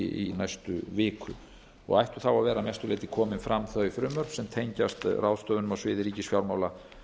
í næstu viku ættu þá að vera að mestu leyti komin fram þau frumvörp sem tengjast ráðstöfunum á sviði ríkisfjármála